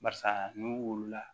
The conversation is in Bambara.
Barisa n'u wulila